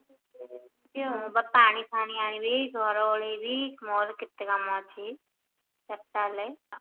ମୁଁ ବା ପାଣି ଫାଣୀ ଆଣିବି ଘର ଓଳେଇବି ମୋର କେତେ କାମ ଅଛି ଚାରିଟା ହେଲାଣି